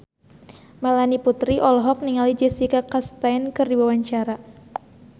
Melanie Putri olohok ningali Jessica Chastain keur diwawancara